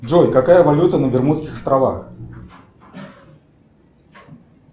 джой какая валюта на бермудских островах